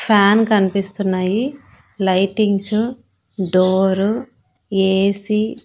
fan కన్పిస్తున్నాయి lightings door AC --